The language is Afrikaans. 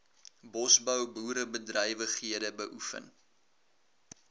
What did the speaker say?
bosbou boerderybedrywighede beoefen